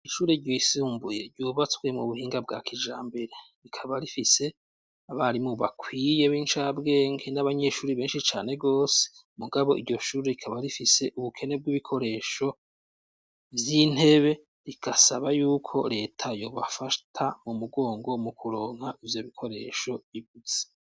Ishure ryisumbuye ryubatswe m'ubuhinga bwakijambere rikaba rifise abarimu bakwiye b'incabwenge n'abanyeshure benshi cane gose mugabo iryoshure rikaba rifise ubukene bw'ibikoresho vy'intebe rikasaba yuko reta yobafata mu'mugongo mukuronka ivyobikoresho ibuze.